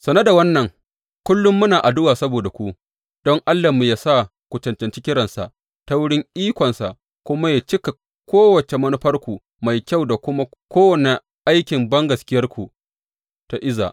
Sane da wannan, kullum muna addu’a saboda ku, don Allahnmu yă sa ku cancanci kiransa, ta wurin ikonsa kuma yă cika kowace manufarku mai kyau da kuma kowane aikin da bangaskiyarku ta iza.